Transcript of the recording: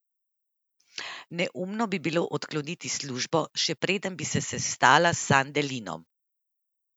Neumno bi bilo odkloniti službo, še preden bi se sestala s Sandelinom.